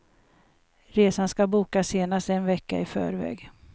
Resan ska bokas senast en vecka i förväg.